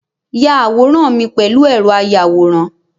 Ya àwòrán mi pèlú ẹ̀rọ ayàwòrán